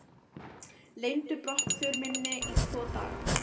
Leyndu brottför minni í tvo daga.